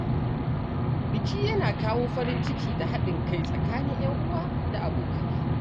Biki yana kawo farin ciki da haɗin kai tsakanin ‘yan uwa da abokai.